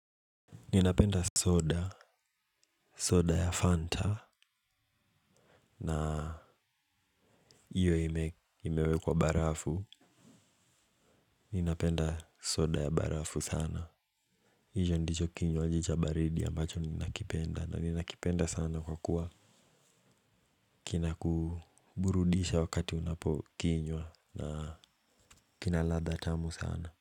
Ninapenda soda soda ya Fanta. Na iyo imewekwa barafu. Ninapenda soda ya barafu sana. Hijo ndicho kinywaji cha baridi ambacho ninakipenda na ninakipenda sana kwa kuwa kinakuburudisha wakati unapo kinywa na kina ladha tamu sana.